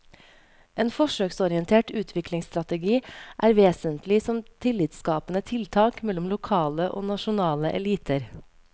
En forsøksorientert utviklingsstrategi er vesentlig som tillitsskapende tiltak mellom lokale og nasjonale eliter.